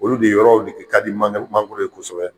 Olu de yɔrɔw de ke ka di mange magoro ye kosɛbɛ.